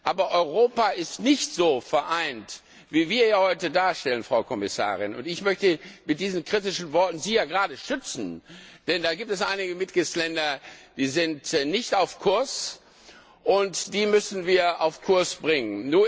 aber Europa ist nicht so vereint, wie wir das heute darstellen, Frau Kommissarin. Und ich möchte Sie mit diesen kritischen Worten ja gerade schützen, denn es gibt einige Mitgliedstaaten, die nicht auf Kurs sind, und die müssen wir auf Kurs bringen.